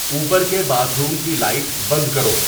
اوپر کے باتھروم کی لائٹ بند کرو